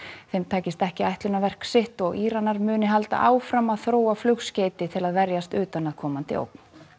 þeim tækist ekki ætlunarverki sitt og Íranar muni halda áfram að þróa flugskeyti til að verjast utanaðkomandi ógn